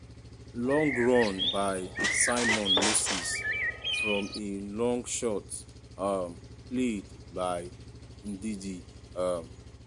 long run by simon moses from a long shot um played by ndidi- um